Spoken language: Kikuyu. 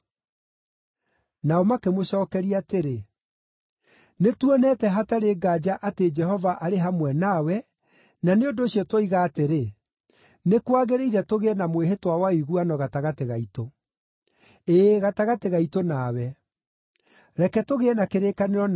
Nao makĩmũcookeria atĩrĩ, “Nĩtuonete hatarĩ nganja atĩ Jehova arĩ hamwe nawe, na nĩ ũndũ ũcio tuoiga atĩrĩ, ‘Nĩ kwagĩrĩire tũgĩe na mwĩhĩtwa wa ũiguano gatagatĩ gaitũ’: ĩĩ, gatagatĩ gaitũ nawe. Reke tũgĩe na kĩrĩkanĩro nawe,